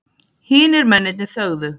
Hinir mennirnir þögðu.